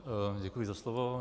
Děkuji za slovo.